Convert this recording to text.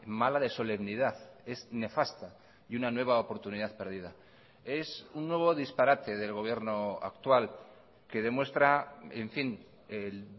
mala de solemnidad es nefasta y una nueva oportunidad perdida es un nuevo disparate del gobierno actual que demuestra en fin el